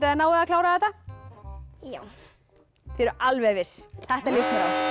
þið náið að klára þetta já þið eruð alveg viss þetta líst